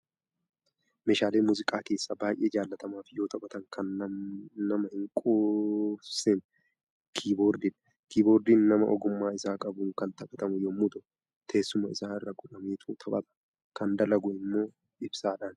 Meeshaalee muuziqaa keessaa baay'ee jaallatamaa fi yoo taphatan kan nama hin quufsine kiiboordiidha. Kiiboordiin nama ogummaa isaa qabuun kan taphatamu yommuu ta'u, teessuma isaa irra godhameetu taphatama. Kan dalagu immoo ibsaadhani.